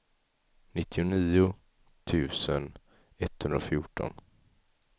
nittionio tusen etthundrafjorton